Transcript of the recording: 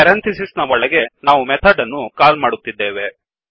ಪೆರಂಥಿಸಿಸ್ನ ಒಳಗೇ ನಾವು ಮೆಥಡ್ ಅನ್ನು ಕಾಲ್ ಮಾಡುತ್ತಿದ್ದೇವೆ